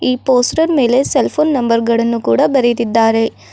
ಈ ಪೋಸ್ಟರ್ ಮೇಲೆ cell phone number ಗಳನ್ನು ಕೂಡ ಬರೆದಿದ್ದಾರೆ.